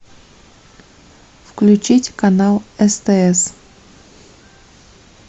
включить канал стс